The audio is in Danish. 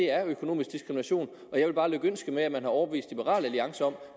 er økonomisk diskrimination og jeg vil bare lykønske med at man har overbevist liberal alliance om